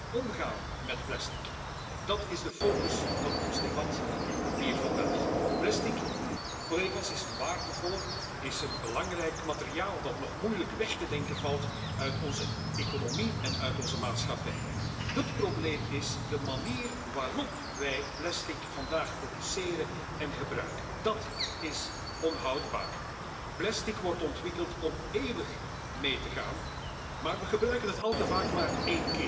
voor zwerfvuil op zee. Bio based plastic kan onze afhankelijkheid van derde landen helpen verminderen door een gedeeltelijke differentiatie van de grondstoffen. Maar onderzoek en ontwikkeling